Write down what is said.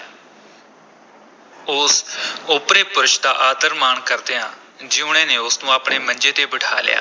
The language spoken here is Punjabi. ਉਸ ਓਪਰੇ ਪੁਰਸ਼ ਦਾ ਆਦਰ-ਮਾਣ ਕਰਦਿਆਂ ਜੀਊਣੇ ਨੇ ਉਸ ਨੂੰ ਆਪਣੇ ਮੰਜੇ ’ਤੇ ਬਿਠਾ ਲਿਆ।